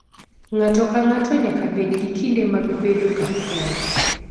Ng'ato ka ng'ato nyaka bed gi kinde mag bedo kar kende.